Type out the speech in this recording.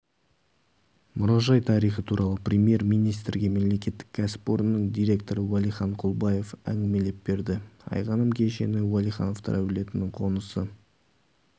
мұражай тарихы туралы премьер-министрге мемлекеттік кәсіпорынның директоры уәлихан құлбаев әңгімелеп берді айғаным кешені уәлихановтар әулетінің қонысы